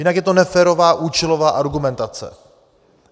Jinak je to neférová účelová argumentace.